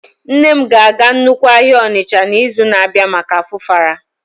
Nne m ga-aga nnukwu ahịa Onitsha n'izu na-abịa maka Afufara